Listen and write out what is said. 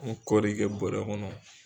kɔɔri kɛ bɔɔrɛ kɔnɔ.